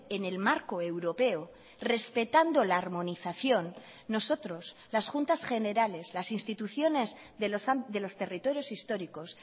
en el marco europeo respetando la armonización nosotros las juntas generales las instituciones de los territorios históricos